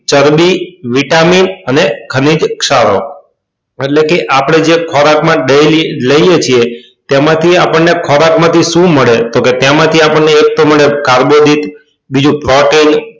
ચરબી vitamin અને ખનીજ ક્ષારો એટલે કે આપડે જે ખોરાક માં daily લઈએ છીએ તેમાં થી આપણને ખોરાક માં થી આપણને સુ મળે તો કે એમાંથી આપણને એક તો મળે કાર્બોદિત બીજું protin